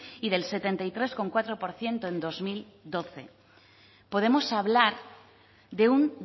y del setenta y tres coma cuatro por ciento en bi mila hamabi podemos hablar de un